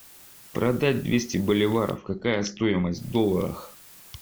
продать двести боливаров какая стоимость в долларах